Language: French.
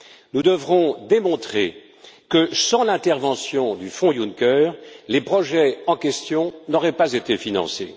Nous devrons démontrer que, sans l'intervention du fonds Juncker, les projets en question n'auraient pas été financés.